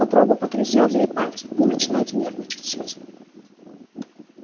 попробуё он погрозил ей пальцем вы начинаете нервничать сьюзен